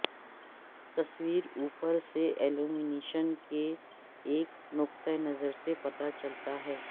تصویر اوپر سے الیومینیشن کے ایک نقطہ نظر سے پتہ چلتا ہے